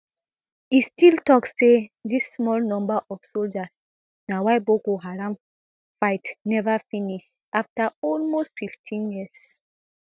e still tok say di small number of soldiers na why boko haram fight neva finish afta almost fifteen years